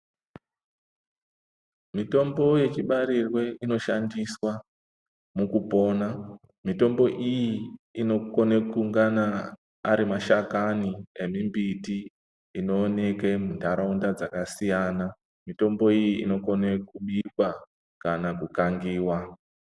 Mitombo yechibarirwe inoshandiswa mukupona. Mitombo iyi inokone kungana ari mashakani ane mbiti inooneke muntaraunda dzakasiyana. Mitombo iyi inokone kubikwa kana kukangiwa.